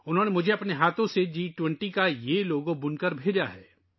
انہوں نے مجھے یہ جی 20 کا لوگو اپنے ہاتھوں سے بن کر بھیجا ہے